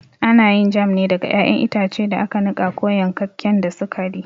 Ana yin jam ne daga ƴaƴan itace da aka niƙa ko yankakken da sukari.